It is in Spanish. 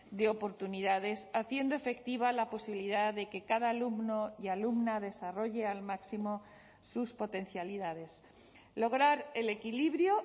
de oportunidades haciendo efectiva la posibilidad de que cada alumno y alumna desarrolle al máximo sus potencialidades lograr el equilibrio